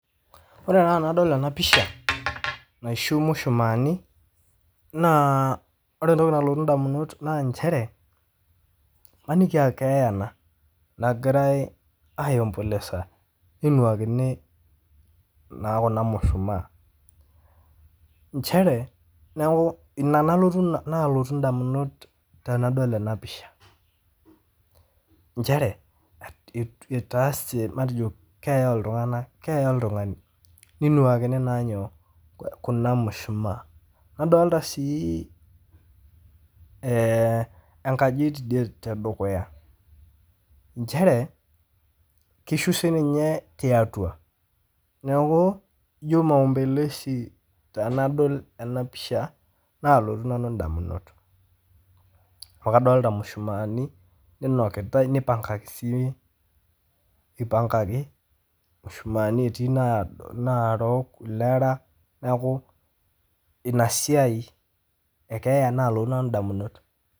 Ore na tenadol ena pisha naishu mushumaani naa ore entoki nalotu indamunot naa inchere maniki aa keeya ana nagirai aiombolesa neinuakini naa kuna mushumaa, inchere naaku nena naalotu indamunot tenadol ena mpisha inchere etaase matejo keeya ltungana, keeya oltungani neinuaakini naa nyoo, kuna imushumaa, nadolita sii enkaji te dukuya, inchere keishu sii ninye tiatua, neaku ijo maombelesi tenadol enapisha naalotu nanu indamunot, amu kadolita imushumaani neinuakitai neipangaki sii eipangaki mishumaani etii naarok ilera, naaku ina siai ekeeya naalotu nanu indamunot.